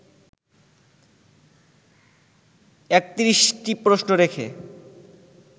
৩১টি প্রশ্ন রেখে